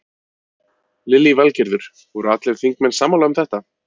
Lillý Valgerður: Voru allir þingmenn sammála um þetta?